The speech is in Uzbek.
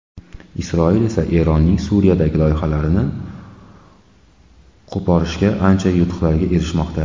Isroil esa Eronning Suriyadagi loyihalarini qo‘porishda ancha yutuqlarga erishmoqda.